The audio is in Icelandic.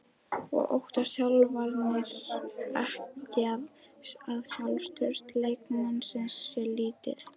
Óttast þjálfararnir ekki að sjálfstraust leikmannsins sé lítið?